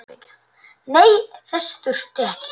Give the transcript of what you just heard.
Nei, þess þurfti ég ekki.